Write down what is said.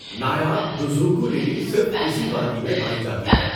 نایاب دزوکو للی صرف اسی وادی میں پائی جاتی ہے۔